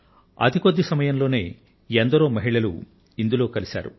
అతి కొద్ది సమయంలో ఎందరో మహిళలు ఇందులో కలిశారు